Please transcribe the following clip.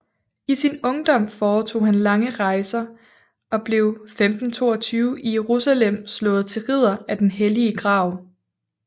I sin ungdom foretog han lange rejser og blev 1522 i Jerusalem slået til ridder af den hellige grav